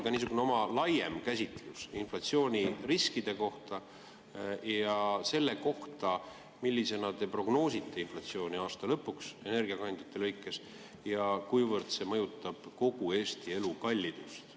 Palun andke ka oma laiem käsitlus inflatsiooniriskide kohta ja selle kohta, millisena te prognoosite inflatsiooni aasta lõpuks energiakandjate lõikes, ja kuivõrd see mõjutab kogu Eesti elukallidust.